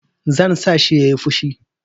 Zan sa shi ya yi fushi.